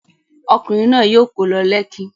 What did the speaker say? Ọkùnrin náà yóò kó lọ Lekki.